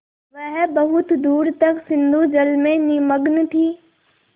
वह बहुत दूर तक सिंधुजल में निमग्न थी